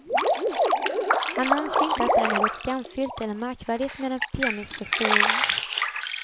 Han anser inte att det är något skamfyllt eller märkvärdigt med en penisförstoring.